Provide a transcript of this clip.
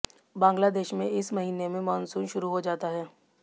बांग्लादेश में इस महीने में मॉनसून शुरू हो जाता है